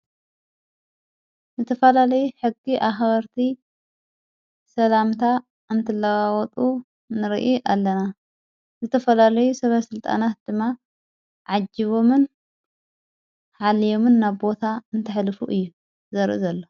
ዘተፈላለይ ሕጊ ኣኅበርቲ ሰላምታ እንትለባወጡ ንርኢ ኣለና ዝተፈላለይ ሰብ ሥልጣናት ድማ ዓጅቦምን ሓልዮምን ናብቦታ እንተኅልፉ እዩ ዘርእ ዘሎ።